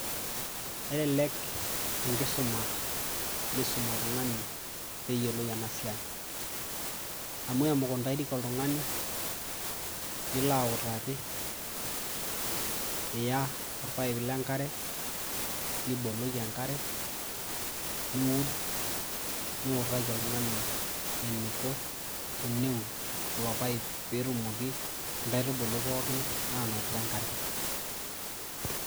Kelelek enkisuma nisum oltungani peyiolou enasiai, amu emukundani oltungani pilonautaki niya orpaip lenkare nibukoki enkare, niud ,niutaki oltungani eniko teneud ilo paep petumoki nkaitubulu pookin ainotito enkare.